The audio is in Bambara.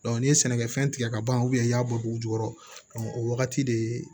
n'i ye sɛnɛkɛfɛn tigɛ ka ban i y'a bɔ dugu jukɔrɔ o wagati de